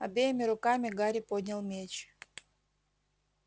обеими руками гарри поднял меч